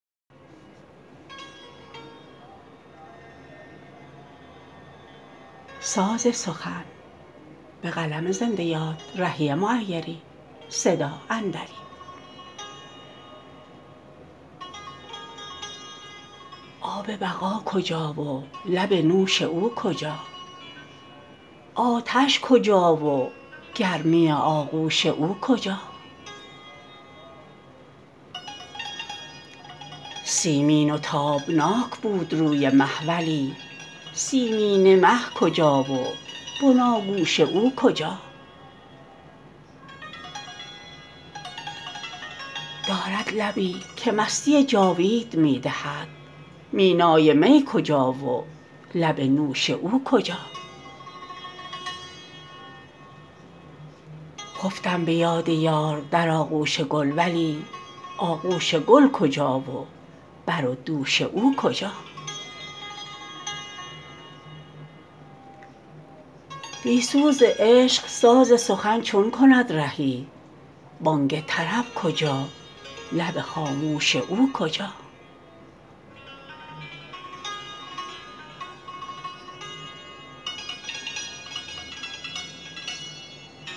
آب بقا کجا و لب نوش او کجا آتش کجا و گرمی آغوش او کجا سیمین و تابناک بود روی مه ولی سیمینه مه کجا و بناگوش او کجا دارد لبی که مستی جاوید می دهد مینای می کجا و لب نوش او کجا خفتم به یاد یار در آغوش گل ولی آغوش گل کجا و بر و دوش او کجا بی سوز عشق ساز سخن چون کند رهی بانگ طرب کجا لب خاموش او کجا